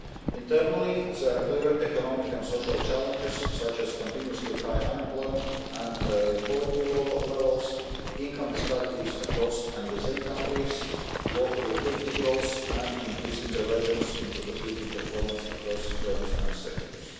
Internally there are clear economic and social challenges such as continuously high unemployment and poverty levels, income disparities across and within countries, low productivity growth, and increasing divergence in productivity performance across firms and sectors.